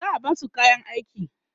za'a Basu kayan aiki